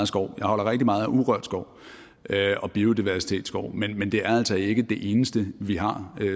skov jeg holder rigtig meget af urørt skov og biodiversitetsskov men det er altså ikke det eneste vi har